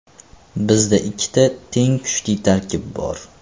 Bizda ikkita teng kuchli tarkib bor.